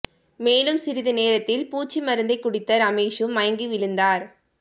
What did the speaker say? மேலும் சிறிது நேரத்தில் பூச்சி மருந்தை குடித்த ரமேஷூம் மயங்கி விழுந்தார்